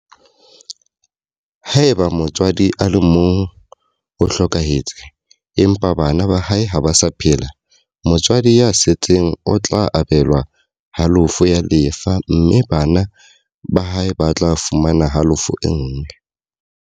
Haeba motswadi a le mong o hlokahetse, empa bana ba hae ba sa phela, motswadi ya setseng o tla abelwa halofo ya lefa mme bana ba hae ba tla fumana halofo e nngwe.